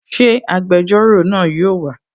Ṣé agbẹjọ́rò náà yóò wà?